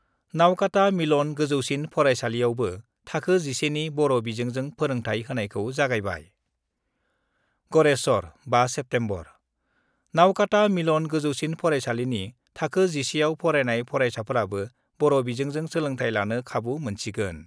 नावकाता मिलन गोजौसिन फराइसालियावबो थाखो 11 नि बर' बिजोंजों फोरोंथाइ होनायखौ जागायबाय गरेस्वर, 5 सेप्सेम्बर: नावकाता मिलन गोजौसिन फराइसालिनि थाखो 11 आव फरायनाय फरायसाफोराबो बर' बिजोंजों सोलोंथाइ लानो खाबु मोनसिगोन।